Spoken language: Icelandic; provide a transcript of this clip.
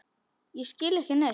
Og ég skil ekki neitt.